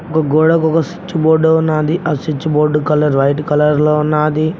ఒక గోడకు ఒక స్విచ్ బోర్డు ఉన్నాది ఆ switch board colour white colour లో ఉన్నాది.